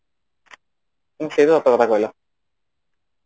ହୁଁ ସେ ବି ସତ କଥା କହିଲା